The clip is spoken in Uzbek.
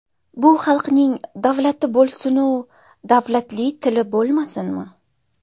Bu xalqning davlati bo‘lsinu, davlatli tili bo‘lmasinmi?